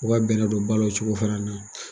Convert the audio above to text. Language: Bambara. U ka bɛnɛ don ba la o cogo fana na